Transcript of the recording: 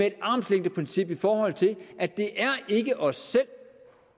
et armslængdeprincip i forhold til at det ikke er os selv